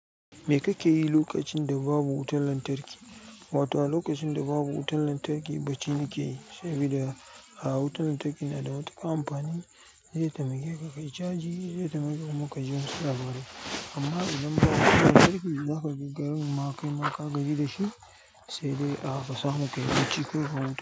Me kake yi lokacin da babu wutar lantarki? Wato a lokacin da babu wutar lantarki ɓaci nake yi, saboda a wutar lantarki na da matuƙar amfani zai taimake ka. Yi chaji shi, zai taimake mu ka ji wasu labaru. Amma idan babu wutar lantarki, za ka je garin ma kai ma ka gaji da shi, sai dai a ka samu ka yi bacci ko ka wanke.